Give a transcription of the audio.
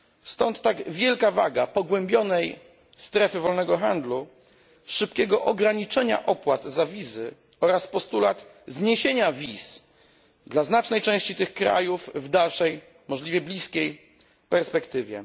Stąd tak wielka waga pogłębionej strefy wolnego handlu, szybkiego ograniczenia opłat za wizy oraz postulat zniesienia wiz dla znacznej części tych krajów w dalszej, możliwie bliskiej perspektywie.